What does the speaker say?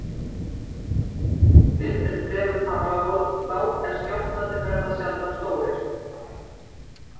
Virknin er fremur þrálát en skjálftarnir verða sjaldan stórir.